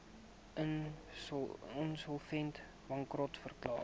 insolvent bankrot verklaar